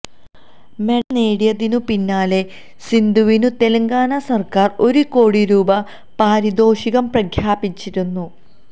medal നേടിയതിനു പിന്നാലെ സിന്ധുവിനു തെലങ്കാന സര്ക്കാര് ഒരു കോടി രൂപ പാരിതോഷികം പ്രഖ്യാപിച്ചിരുന്നു